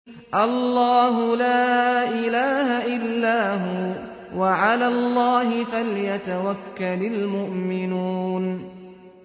اللَّهُ لَا إِلَٰهَ إِلَّا هُوَ ۚ وَعَلَى اللَّهِ فَلْيَتَوَكَّلِ الْمُؤْمِنُونَ